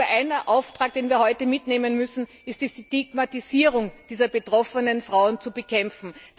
Ein Auftrag, den wir heute mitnehmen müssen, ist, die Stigmatisierung dieser betroffenen Frauen zu bekämpfen.